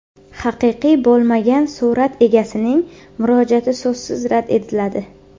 Haqiqiy bo‘lmagan surat egasining murojaati so‘zsiz rad etiladi.